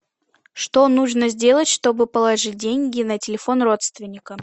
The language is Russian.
что нужно сделать чтобы положить деньги на телефон родственника